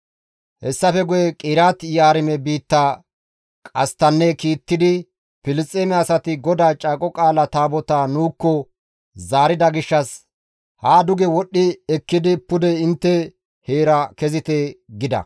Hessafe guye Qiriyaate-Yi7aarime biitta qasttanne kiittidi, «Filisxeeme asati GODAA Caaqo Qaala Taabotaa nuukko zaarida gishshas haa duge wodhdhi ekkidi pude intte heera kezite» gida.